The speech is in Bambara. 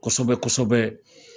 kosɛbɛ kosɛbɛ